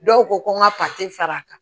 Dɔw ko ko n ka fara a kan